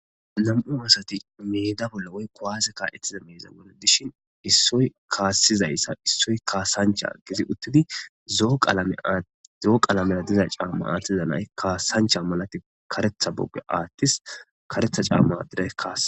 nam7u woossati meeda bolla woykkowaaze kaa7etize meeza gole dishin issoy kaassizayssa issoy kaasancha gizi uttidi zoo qaalamera diza caamma aattiza nay kaasancha malati karetha bogge aattis karetha caamma addere kaa